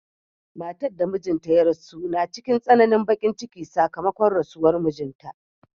Matar da mijinta ya rasu na cikin tsananin bakin ciki sakamakon rasuwar mijinta.